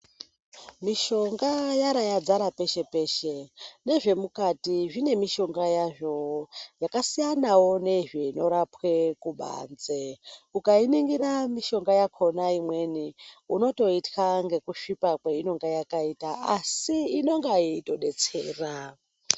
Mishonga Yara yadzara peshe peshe nezvemukati zvine mishonga yazvo yakasiyanawo nezvinorapwe kubanze ukainingira mishonga yakona imweni unotoitya ngekusvipa kwainenge yakaita asi inenge yeitodetsera.